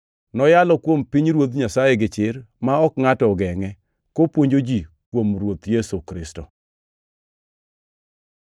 Noyalo kuom pinyruoth Nyasaye gichir ma ok ngʼato ogengʼe, kopuonjo ji kuom Ruoth Yesu Kristo.